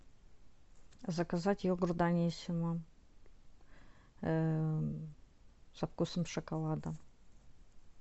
заказать йогурт даниссимо со вкусом шоколада